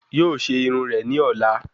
Yóò ṣe irun rẹ̀ ní ọ̀la